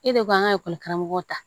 E de ko k'an ka karamɔgɔw ta